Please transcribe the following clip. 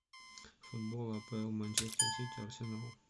футбол апл манчестер сити арсенал